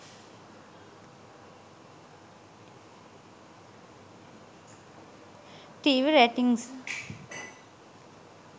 tv ratings